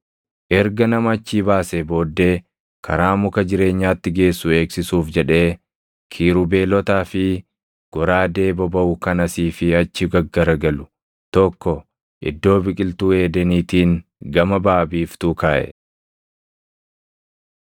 Erga nama achii baasee booddee karaa muka jireenyaatti geessu eegsisuuf jedhee kiirubeelotaa fi goraadee bobaʼu kan asii fi achi gaggaragalu tokko Iddoo Biqiltuu Eedeniitiin gama baʼa biiftuu kaaʼe.